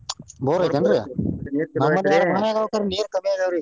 Bore ಐತೇನ್ರಿ ನಮ್ಮು ಅದಾವ ಖರೆ ನೀರ್ ಕಮ್ಮಿ ಅಗ್ಯಾವ್ರಿ ಈಗ.